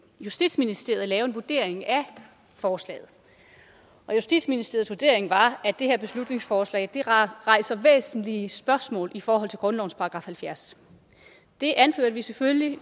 justitsministeriet lave en vurdering af forslaget og justitsministeriets vurdering var at det her beslutningsforslag rejser væsentlige spørgsmål i forhold til grundlovens § halvfjerds det anførte vi selvfølgelig